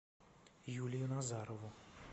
юлию назарову